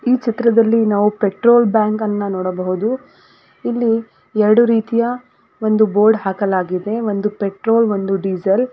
ಈ ಚಿತ್ರದಲ್ಲಿ ನಾವು ಪೆಟ್ರೋಲ್ ಬ್ಯಾಂಕ್ ಅನ್ನ ನೋಡಬಹುದು ಇಲ್ಲಿ ಎರಡು ರೀತಿಯ ಒಂದು ಬೋರ್ಡ್ ಹಾಕಲಾಗಿದೆ ಒಂದು ಪೆಟ್ರೋಲ್ ಒಂದು ಡೀಸೆಲ್ .